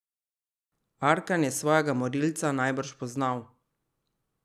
Arkan je svojega morilca najbrž poznal.